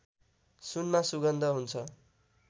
सुनमा सुगन्ध हुन्छ